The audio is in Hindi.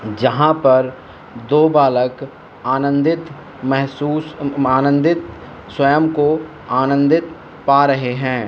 यहां पर दो बालक आनंदित महसूस आनंदित स्वयं को आनंदित पा रहे हैं।